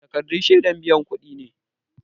Takardun shiadar biyan kudi ne